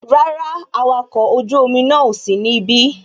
Rárá, awakọ̀ ojú omi náà ò sí ní ibí